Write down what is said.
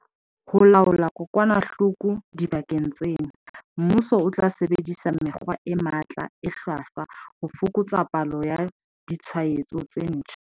Ho laola kokwanahloko dibakeng tsena, mmuso o tla sebedisa mekgwa e matla e hlwahlwa ho fokotsa palo ya ditshwaetso tse ntjha.